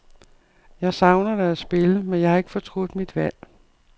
Jeg savner da at spille, men jeg har ikke fortrudt mit valg.